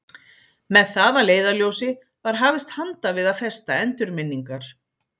Með það að leiðarljósi var hafist handa við að festa endurminningar